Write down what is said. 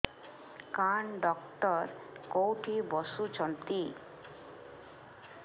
କାନ ଡକ୍ଟର କୋଉଠି ବସୁଛନ୍ତି